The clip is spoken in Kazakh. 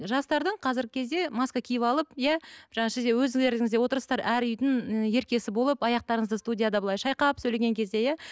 жастардың қазіргі кезде маска киіп алып иә өздеріңіз де отырсыздар әр үйдің еркесі болып аяқтарыңызды студияда былай шайқап сөйлеген кезде иә